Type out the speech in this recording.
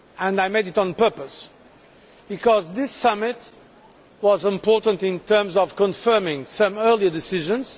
I did that on purpose because this summit was important in terms of confirming some earlier decisions.